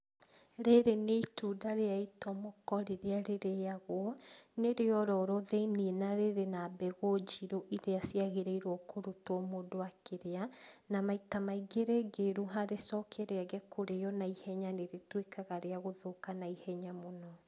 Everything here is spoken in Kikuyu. Rĩrĩ nĩ itunda rĩa itomoko rĩrĩa rĩrĩagũo, nĩ rĩororo thiĩniĩ na rĩrĩ na mbegũ njirũ iria ciagĩrĩirwo kũrutwo mũndũ akĩrĩa, na maita maingĩ rĩngĩruha rĩcoke rĩage kũrĩo naihenya nĩrĩtuĩkaga rĩa gũthũka naihenya mũno.